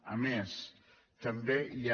a més també hi ha